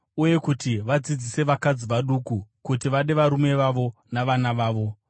Uye kuti vadzidzise vakadzi vaduku kuti vade varume vavo navana vavo,